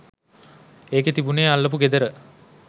ඒකෙ තිබුනේ අල්ලපු ගෙදර